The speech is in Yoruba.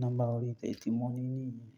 Nọ́mbà ọ̀rìlẹ̀ ti mo ní nìyẹn.